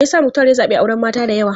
Me yasa Muktar ya zabi auren mata da yawa?